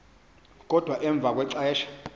kodwa emva kwexesha